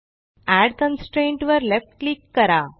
add constraint वर left click करा